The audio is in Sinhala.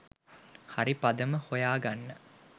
හරි පදම හොයා ගන්න.